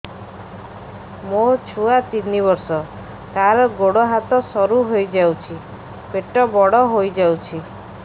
ମୋ ଛୁଆ ତିନି ବର୍ଷ ତାର ଗୋଡ ହାତ ସରୁ ହୋଇଯାଉଛି ପେଟ ବଡ ହୋଇ ଯାଉଛି